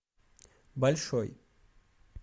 большой